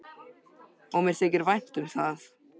Og mér þykir vænt um það.